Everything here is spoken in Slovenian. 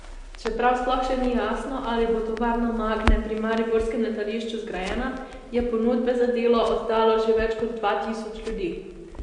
Čeprav sploh še ni jasno, ali bo tovarna Magne pri mariborskem letališču zgrajena, je ponudbe za delo oddalo že več kot dva tisoč ljudi.